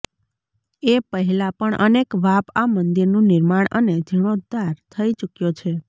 એ પહેલા પણ અનેક વાપ આ મંદિરનું નિર્માણ અને જિર્ણોધ્ધાર થઈ ચૂક્યો છે